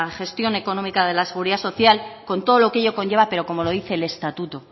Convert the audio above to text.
gestión económica de la seguridad social con todo lo que ello conlleva pero como lo dice el estatuto